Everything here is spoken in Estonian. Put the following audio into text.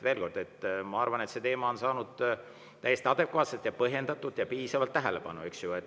Veel kord: ma arvan, et see teema on saanud täiesti põhjendatult adekvaatselt ja piisavalt tähelepanu.